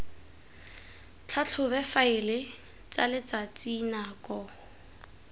tlhatlhobe difaele tsa letsatsi nako